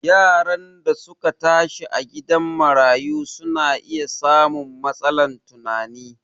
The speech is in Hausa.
Yaran da su ka tashi a gidan marayu su na iya samun matsalan tunani